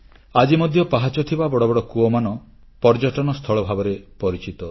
ଆଜି ମଧ୍ୟ ପାହାଚ ଥିବା ବଡ଼ ବଡ଼ କୂଅମାନ ପର୍ଯ୍ୟଟନସ୍ଥଳ ଭାବରେ ପରିଚିତ